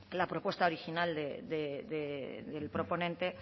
la propuesta original del proponente